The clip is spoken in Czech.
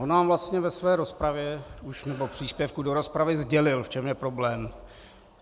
On nám vlastně ve své rozpravě, nebo v příspěvku do rozpravy, sdělil, v čem je problém.